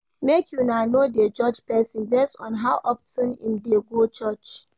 Make una no dey judge pesin based on how of ten im dey go church.